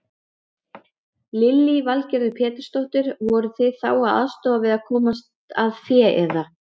Lillý Valgerður Pétursdóttir: Voruð þið þá að aðstoða við að komast að fé eða?